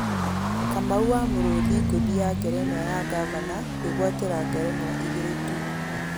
Kamau wa Mũrũthi ngũthi ya ngerenwa ya ngavana, kwĩgwatĩra ngerenwa igĩrí tu.